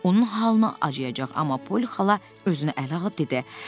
Onun halına acıyacaq, amma Poli xala özünü ələ alıb dedi.